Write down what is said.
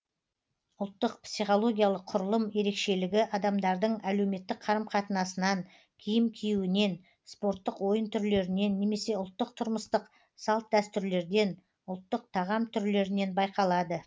ұлттық психологиялық құрылым ерекшелігі адамдардың әлеуметтік қарым қатынасынан киім киюінен спорттық ойын түрлерінен немесе ұлттық тұрмыстық салт дәстүрлерден ұлттық тағам түрлерінен байқалады